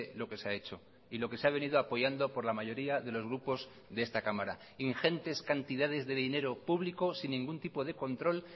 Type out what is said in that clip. lo que se ha hecho y lo que se ha venido apoyando por la mayoría de los grupos de esta cámara ingentes cantidades de dinero público sin ningún tipo de control